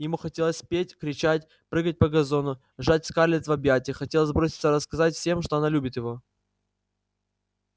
ему хотелось петь кричать прыгать по газону сжать скарлетт в объятиях хотелось броситься рассказывать всем что она любит его